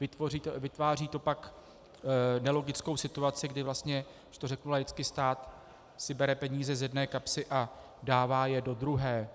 Vytváří to pak nelogickou situaci, kdy vlastně, když to řeknu laicky, stát si bere peníze z jedné kapsy a dává je do druhé.